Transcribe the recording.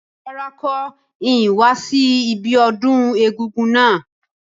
Rárá, n ko ni wa si ibiodún egúngún náà